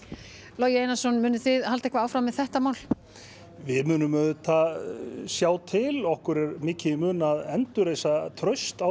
Logi Einarsson munuð þið halda eitthvað áfram með þetta mál við munum sjá til okkur er mikið í mun að endurvekja traust á